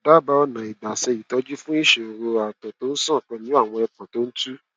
dábàá ọnà ìgbà ṣe ìtọjú fún ìṣòro àtọ tó ṣàn pẹlú awọ ẹpọn tó tú